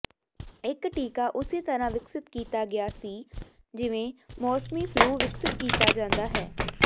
ਇਕ ਟੀਕਾ ਉਸੇ ਤਰ੍ਹਾਂ ਵਿਕਸਿਤ ਕੀਤਾ ਗਿਆ ਸੀ ਜਿਵੇਂ ਮੌਸਮੀ ਫਲੂ ਵਿਕਸਿਤ ਕੀਤਾ ਜਾਂਦਾ ਹੈ